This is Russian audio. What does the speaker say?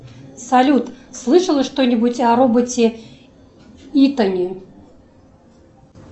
салют слышала что нибудь о роботе итоне